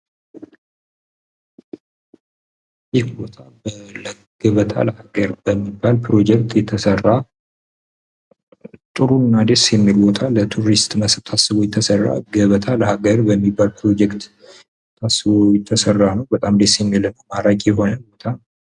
ይህ ቦታ ገበታ ለሃገር በሚባል ፕሮጀክት የተሰራ ነው። ለቱሪስት ታስቦ የተሰራ ነው። በጣም ደስ የሚል ማራኪ የሆነ ቦታ ነው።